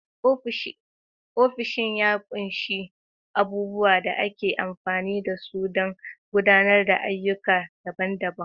Ofishin ya ƙunshi abubuwan da ake amfani da su don gudanar da ayyuka daban-daban.